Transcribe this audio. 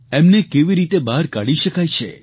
એમને કેવી રીતે બહાર કાઢી શકાય છે